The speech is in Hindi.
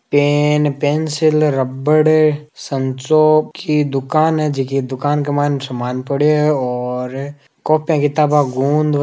पेन पेंसिल रबड़ संचो की दुकान है जकी दुकान के मायने सामान पड़यो है और कॉपी किताबा और गूंद --